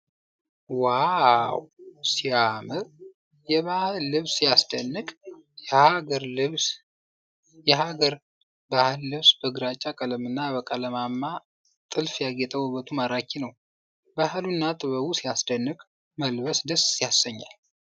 ዋው ሲያምር! የባህል ልብስ ሲያስደንቅ! የሀገር ባህል ልብስ በግራጫ ቀለምና በቀለማማ ጥልፍ ያጌጠ ውበቱ ማራኪ ነው። ባህሉና ጥበቡ ሲያስደንቅ! መልበስ ደስ ያሰኛል።